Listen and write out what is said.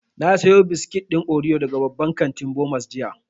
Na sayo biskit ɗin oriyo daga babban kantin Bomas jiya